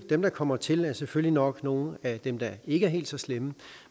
dem der kommer til er selvfølgelig nok nogle af dem der ikke er helt så slemme